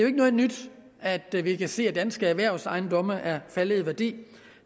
ikke noget nyt at vi kan se at danske erhvervsejendomme er faldet i værdi